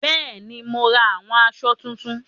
Bẹ́ẹ̀ni, mo ra àwọn asọ tuntun